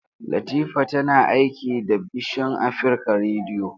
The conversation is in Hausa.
Latifa tana aiki da bision Afrika rediyo.